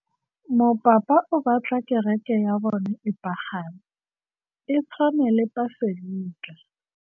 Mopapa o batla kereke ya bone e pagame, e tshwane le paselika.